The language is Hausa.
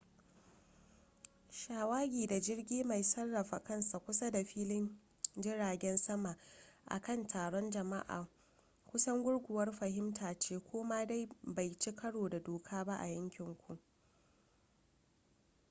shawagi da jirgi mai sarrafa kansa kusa da filin jiragen sama a kan taron jama'a kusan gurguwar fahimta ce ko da ma bai ci karo da doka ba a yankin ku